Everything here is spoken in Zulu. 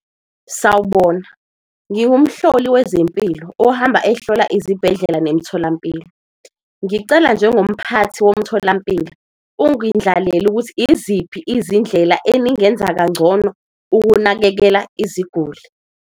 Sawubona, ngingumhloli wezempilo ohamba ehlola izibhedlela nemtholampilo, ngicela njengomphathi womtholampilo ungindlalele. Ukuthi, iziphi izindlela eningenza kangcono ukunakekela iziguli?